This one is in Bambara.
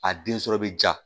A den sɔrɔ bɛ ja